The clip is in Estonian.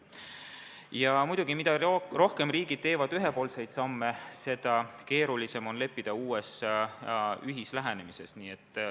Ja muidugi, mida rohkem riigid teevad ühepoolseid samme, seda keerulisem on kokku leppida uues ühislähenemises.